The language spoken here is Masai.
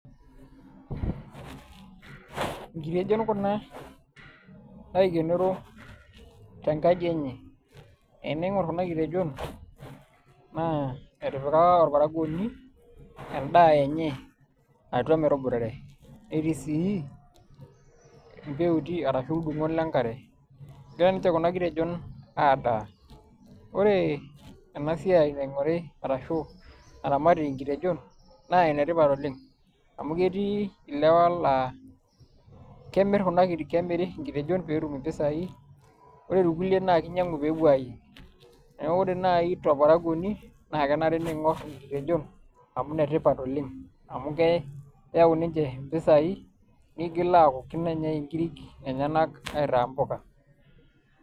Nkitejon kuna naikenoro tenkaji enye eniing'or kuna kitejon naa etipikaka orparakuoni endaa enye atua metuboitare netii sii embuuti arashu irkurtot le nkare egira ninche kuna kitejon aandaa, ore ena siai naing'ore arashu naramati nkitejon naa enetipat oleng' amu ketii ilewa laa kemirr kuna kitejon, kemiri oshi nkitejon netum impisaai ore irkulie naa kinyiang'u pee epuo aayieng' neeku ore naai torparakuoni naa kenare niing'orr nkitejon amu inetipat oleng' amu keyau ninche mpisaai niigil aaku kiidimn enyai nkirik enye aitaa mpuka.